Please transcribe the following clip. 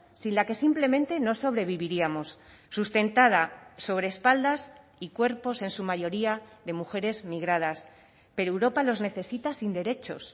sin la que simplemente no sobreviviríamos sustentada sobre espaldas y cuerpos en su mayoría de mujeres migradas pero europa los necesitas sin derechos